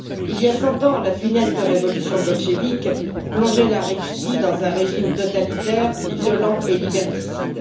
Il y a 100 ans, la funeste révolution bolchévique plongeait la Russie dans un régime totalitaire, violent et liberticide.